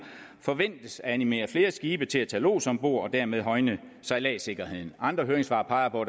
forventes at animere flere skibe til at tage lods ombord og dermed højne sejladssikkerheden andre høringssvar peger på